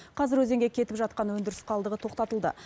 қазір өзенге кетіп жатқан өндіріс қалдығы тоқтатылды